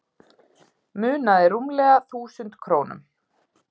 Munaði rúmlega þúsund krónum